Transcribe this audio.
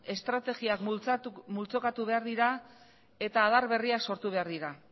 estrategiak multzokatu behar dira eta adar berriak sortu behar dira